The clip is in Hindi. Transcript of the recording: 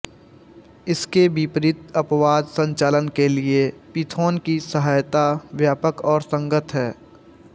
इसके विपरीत अपवाद संचालन के लिए पिथोन की सहायता व्यापक और संगत है